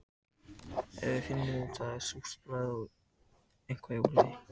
Ef við finnum af því súrt bragð er eitthvað í ólagi.